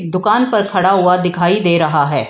दुकान पर खड़ा व दिखाई दे रहा है।